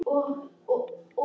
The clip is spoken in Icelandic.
Ég get ekki lifað.